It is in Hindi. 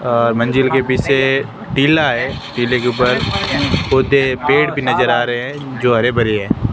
अह मंजिल के पीछे टिला है टीले के ऊपर पौधे पेड़ भी नजर आ रहे हैं जो हरे भरे हैं।